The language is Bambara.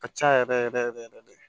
Ka ca yɛrɛ yɛrɛ yɛrɛ yɛrɛ de